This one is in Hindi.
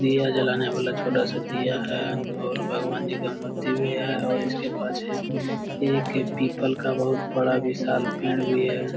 दिया जलाने वाला छोटा-सा दिया है और भगवान जी का मूर्ति भी है और इसके पाछे ये एक पीपल का बोहोत बड़ा विशाल पेड़ भी है।